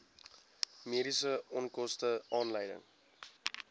mediese onkoste aanleiding